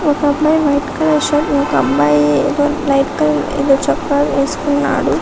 ఇంకెక్కడా ఒక అబ్బాయి కనిపిస్తున్నాడు చుడానికి చాల పెద్ద హా ఉన్నఉడ్ --